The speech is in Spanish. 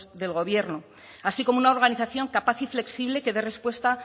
del gobierno así como una organización capaz y flexible que dé respuesta